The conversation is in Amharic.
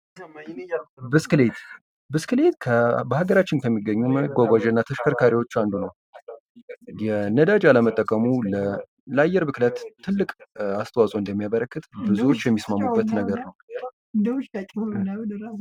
ብስክሌት ብስክሌት በሀገራችን ከሚገኙ መጓጓዣና ተሽከርካሪዎች አንዱ ነው ነዳጅ አለመጠቀሙ ለአየር ብክለት ትልቅ አስተዋጽኦ እንደሚያበረክት ብዙዎች የሚስማሙበት ነገር ነው።